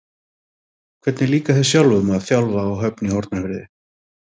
Hvernig líkar þér sjálfum að þjálfa á Höfn í Hornafirði?